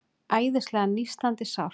Æðislega nístandi sárt.